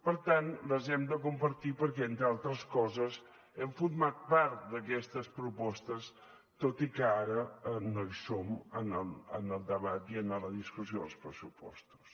per tant les hem de compartir perquè entre altres coses hem format part d’aquestes propostes tot i que ara no hi som en el debat i en la discussió dels pressupostos